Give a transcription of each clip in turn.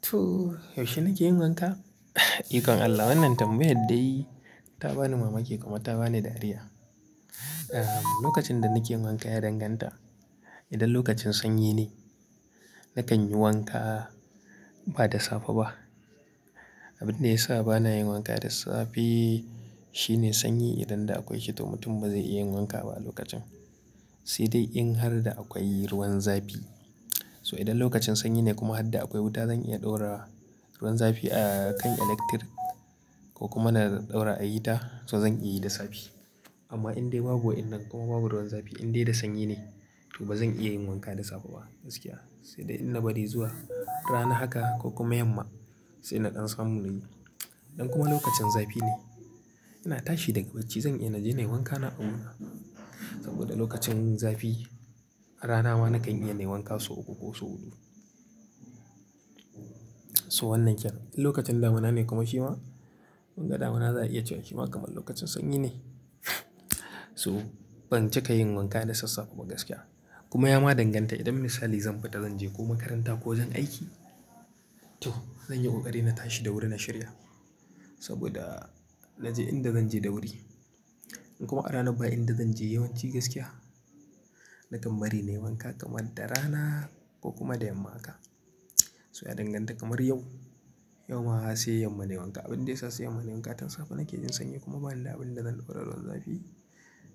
To, yaushe nake yin wanka? Ikon Allah wannan tambayar dai ta bani mamaki kuma ta bani dariya. Lokacin da nake yin wanka ya danganta idan lokacin sanyi ne, nakan yi wanka ba da safe ba. Abin da ya sa ba na yin wanka da safe shine sanyi idan da akwai kito mutum ba zai iya yin wanka ba a lokacin. Sai dai in har da akwai ruwan zafi. So idan lokacin sanyi ne kuma har da akwai wuta zan iya ɗaura ruwan zafi a kan electrik ko kuma na ɗaura a hita, to zan iya yi da safe. Amma in dai babu wa'inan kuma babu ruwan zafi in dai da sanyi ne to ba zan iya yin wanka da safe ba gaskiya. Sai dai in na bari zuwa rana haka ko kuma yamma sai naƙan samu na yi. Idan kuma lokacin zafi ne, ina tashi daga bacci zan iya na je na yi wankana a wurina. Saboda lokacin zafi rana ma na kan iya na yi wanka so uku ko so huɗu. So wannan kyallen, idan lokacin damuna ne kuma fi ma, mun ga damuna za a iya cewa fi ma kamar lokacin sanyi ne. So ban cika yin wanka da sassafo ba gaskiya. Kuma ya ma danganta idan misali zan fita zan je ko makaranta ko zan aiki, to zan yi ƙoƙari na tashi da wuri na shirya. Saboda na je in da zan je da wuri. In kuma a rana baya in da zan je yawanci gaskiya, nakan bari na yi wanka kamar da rana ko kuma da yamma haka. So ya danganta kamar yau, yau ma ashe yamman ne wanka. Abin da ya sa siyamman ne wanka, tun safe nake jin sanyi kuma bani da abin da zan ɗora ruwan zafi.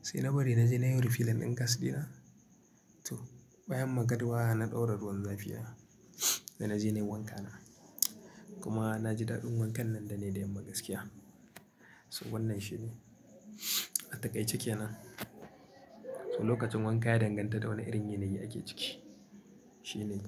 Sai na bari na je na yi wurin filin ɗin gasdina. To, bayan magariba na ɗora ruwan zafina da na je na yi wankana. Kuma na ji daɗin wankan nan da ne da yamma gaskiya. So wannan shi ne. A takaice ke nan. So lokacin wanka ya danganta da wane irin yanayi ake ciki. Shi ne.